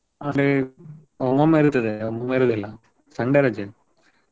Saturday ಒಮ್ಮೊಮ್ಮೆ ಇರ್ತದೆ. ಒಮ್ಮೊಮ್ಮೆ ಇರುದಿಲ್ಲ Sunday ರಜೆ.